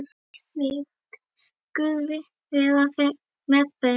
Megi Guð vera með þeim.